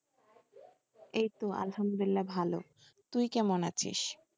এইতো আলহামদুলিল্লাহ ভালো, তুই কেমন আছিস?